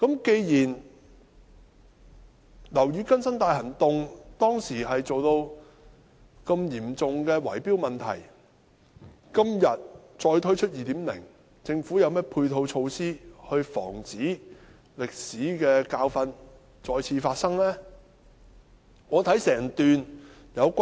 既然"樓宇更新大行動"當時出現這麼嚴重的圍標問題，今天再推出 "2.0" 時，究竟政府有何配套措施防止這歷史教訓再次發生呢？